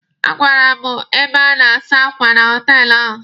A gara m ebe a na-asa akwa na họtelụ ahụ.